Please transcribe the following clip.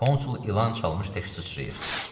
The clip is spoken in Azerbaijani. Konsul ilan çalmış tək sıçrayır.